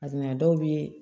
dɔw bɛ